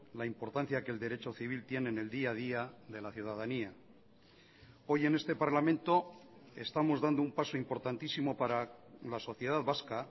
la importancia que el derecho civil tiene en el día a día de la ciudadanía hoy en este parlamento estamos dando un paso importantísimo para la sociedad vasca